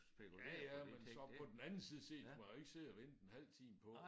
Ja ja men så på den anden side set kan man jo ikke sidde og vente en halv time på